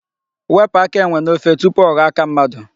Wepụ aka enwe n'ofe tupu ọ ghọọ aka mmadụ.